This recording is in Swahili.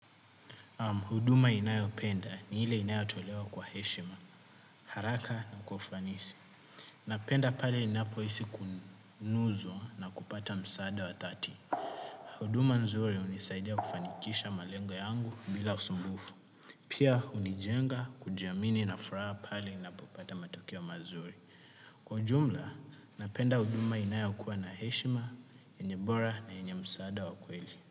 Huduma ninayopenda ni ile inayotolewa kwa heshima, haraka na kwa ufanisi. Napenda pale ninapohisi kunuzwa na kupata msaada wa dhati. Huduma nzuri hunisaidia kufanikisha malengo yangu bila usumbufu. Pia hunijenga kujiamini na furaha pale ninapopata matokeo mazuri. Kwa ujumla, napenda huduma inayokuwa na heshima, enye bora na enye msaada wa kweli.